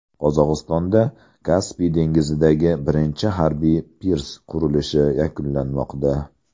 Qozog‘istonda Kaspiy dengizidagi birinchi harbiy pirs qurilishi yakunlanmoqda.